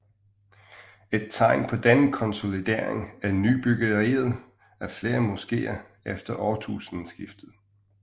Et tegn på denne konsolidering er nybyggeriet af flere moskeer efter årtusindskiftet